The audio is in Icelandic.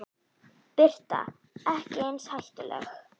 Birta: Ekki eins hættuleg?